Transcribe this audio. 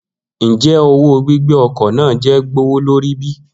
Njẹ owo gbigbe ọkọ naa jẹ gbowolori bi?